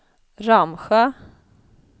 Ramsjö